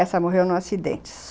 Essa morreu num acidente.